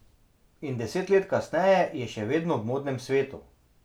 In deset let kasneje je še vedno v modnem svetu.